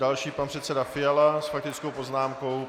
Další, pan předseda Fiala s faktickou poznámkou.